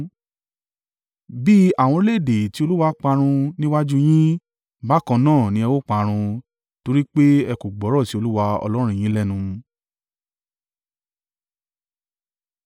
Bí àwọn orílẹ̀-èdè tí Olúwa parun níwájú u yín, bákan náà ni ẹ ó parun, torí pé ẹ kò gbọ́rọ̀ sí Olúwa Ọlọ́run yín lẹ́nu.